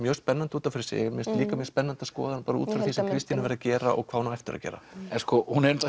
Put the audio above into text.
mjög spennandi út af fyrir sig líka mjög spennandi að skoða hana út frá því sem Kristín hefur verið að gera og hvað hún á eftir að gera hún